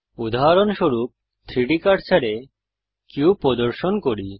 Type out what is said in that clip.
উদাহরণস্বরূপ 3ডি কার্সারে কিউব প্রদর্শন করি